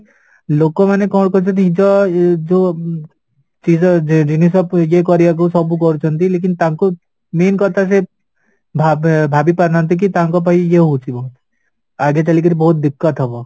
ଲୋକମାନେ କ'ଣ କରୁଛନ୍ତି ନିଜ ଏ ଯୋଉ ଜିନିଷ କୁ ଇଏ କରିବାକୁ ସବୁ କରୁଛନ୍ତି ତାଙ୍କୁ main କଥା ସେ ଭାବେ ଭାବି ପାରୁନାହାନ୍ତି କି ତାଙ୍କ ପାଇଁ ଇଏ ହଉଥିବ ଆଗେ ଚାଲିକିରି ବହୁତ ହବ